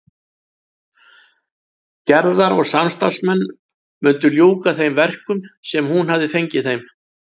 Gerðar og samstarfsmenn mundu ljúka þeim verkum sem hún hafði fengið þeim.